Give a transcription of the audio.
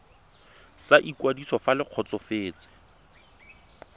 sa ikwadiso fa le kgotsofetse